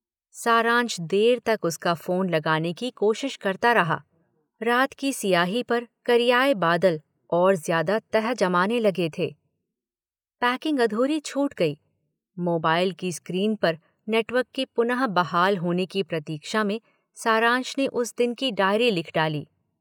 सारांश देर तक उसका फोन लगाने की कोशिश करता रहा - रात की सियाही पर करियाए बादल और ज्यादा गहरे जमने लगे थे - पैकिंग अधूरी छूट गई - मोबाइल की स्क्रीन पर नेटवर्क के पुनः बहाल होने की प्रतीक्षा में सारांश ने उस दिन की डायरी लिख डाली।